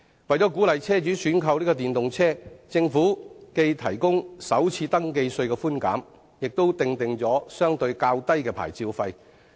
為鼓勵車主選購電動車，政府既提供首次登記稅寬減，亦訂定了相對較低的牌照費。